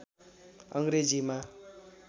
अङ्ग्रेजीमा